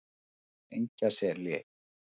Engjaseli